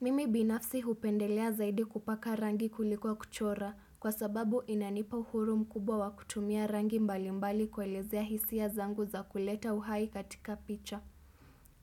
Mimi binafsi hupendelea zaidi kupaka rangi kuliko kuchora kwa sababu inanipahuru mkubwa wa kutumia rangi mbalimbali kuelezea hisia zangu za kuleta uhai katika picha.